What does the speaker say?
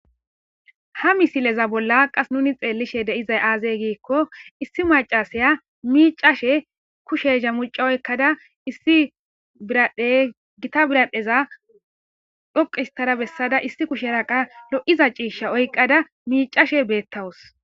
ha misileza bolla qas nuni xeellishe de7izay aazee giikko issi macasaya miicashe kushe ha micca oykkada issi biradhdhey gita birahdheza dhoqi hista bessada issi kusherra qassi lo7iza ciishsha oykkada miicashe beettawus